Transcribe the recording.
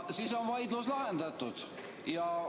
Siis on vaidlus lahendatud.